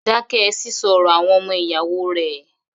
Dákẹ́ sísọ ọ̀rọ̀ àwọn ọmọ ìyáwó rẹ̀!